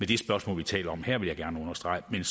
det spørgsmål vi taler om her vil jeg gerne understrege men